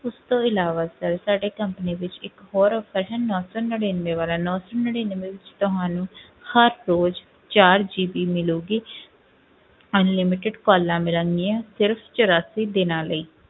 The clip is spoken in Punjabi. ਉਸ ਤੋਂ ਇਲਾਵਾ sir ਸਾਡੇ company ਵਿੱਚ ਇੱਕ ਹੋਰ offer ਹੈ ਨੋਂ ਸੌ ਨੜ੍ਹਿਨਵੇਂ ਵਾਲਾ, ਨੋਂ ਸੌ ਨੜ੍ਹਿਨਵੇਂ ਵਿੱਚ ਤੁਹਾਨੂੰ ਹਰ ਰੋਜ਼ ਚਾਰ GB ਮਿਲੇਗੀ unlimited calls ਮਿਲਣਗੀਆਂ ਸਿਰਫ਼ ਚੁਰਾਸੀ ਦਿਨਾਂ ਲਈ।